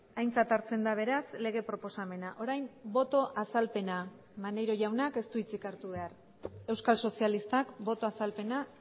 aintzat hartzen da beraz lege proposamena orain boto azalpena maneiro jaunak ez du hitzik hartu behar euskal sozialistak boto azalpena